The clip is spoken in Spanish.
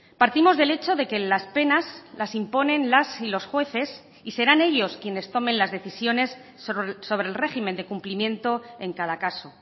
partimos del hecho de que las penas las imponen las y los jueces y serán ellos quienes tomen las decisiones sobre el régimen de cumplimiento en cada caso